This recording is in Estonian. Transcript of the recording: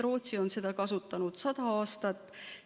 Rootsi on seda kasutanud sada aastat.